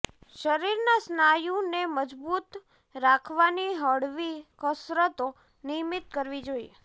શરીરના સ્નાયુને મજબૂત રાખવાની હળવી કસરતો નિયમિત કરવી જોઈએ